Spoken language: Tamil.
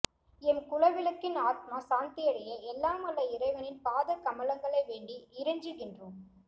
எம் குலவிளக்கின் ஆத்மா சாந்தியடைய எல்லாம் வல்ல இறைவனின் பாதக் கமலங்களை வேண்டி இறைஞ்சிகின்றோம்